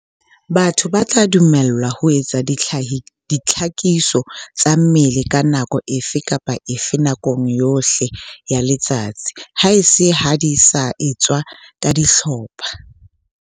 Batho ba tla dumellwa ho etsa dihlakiso tsa mmele ka nako efe kapa efe nakong yohle ya letsatsi, haese ha di sa etswe ka dihlopha.